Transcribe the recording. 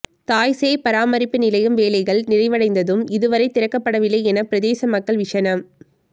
தாய் சேய் பராமரிப்பு நிலையம் வேலைகள் நிறைவடைந்தும் இதுவரை திறக்கப்படவில்லை என பிரதேச மக்கள் விஷனம்